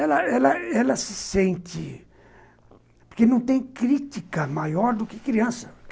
Ela ela ela se sente... Porque não tem crítica maior do que criança.